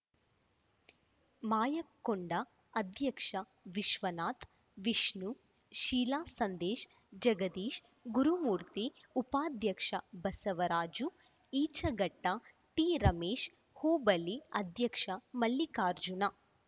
ಮಾಯಕೊಂಡ ಅಧ್ಯಕ್ಷ ವಿಶ್ವನಾಥ ವಿಷ್ಣು ಶೀಲಾ ಸಂದೇಶ ಜಗದೀಶ ಗುರುಮೂರ್ತಿ ಉಪಾಧ್ಯಕ್ಷ ಬಸವರಾಜು ಈಚಘಟ್ಟ ಟಿರಮೇಶ್ ಹೋಬಳಿ ಅಧ್ಯಕ್ಷ ಮಲ್ಲಿಕಾರ್ಜುನ